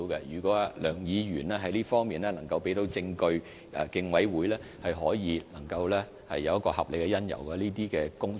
如果梁議員在這方面能夠提供證據，競委會便可以考慮是否有合理理由，展開有關工作。